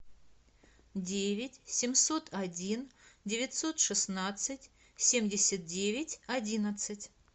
девять семьсот один девятьсот шестнадцать семьдесят девять одиннадцать